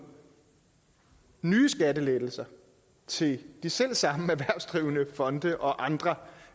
nye skattelettelser til de selv samme erhvervsdrivende fonde og andre